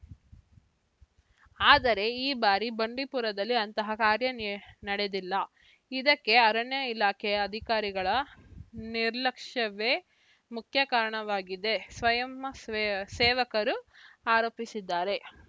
ಆದರೆ ಈ ಬಾರಿ ಬಂಡೀಪುರದಲ್ಲಿ ಅಂತಹ ಕಾರ್ಯ ನೀ ನಡೆದಿಲ್ಲ ಇದಕ್ಕೆ ಅರಣ್ಯ ಇಲಾಖೆಯ ಅಧಿಕಾರಿಗಳ ನಿರ್ಲಕ್ಷ್ಯವೇ ಮುಖ್ಯ ಕಾರಣವಾಗಿದೆ ಸ್ವಯಂಸೇಸೇವಕರು ಆರೋಪಿಸಿದ್ದಾರೆ